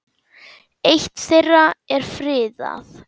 Eitt þeirra er friðað.